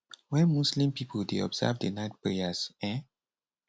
wen muslim pipo dey observe di night prayers um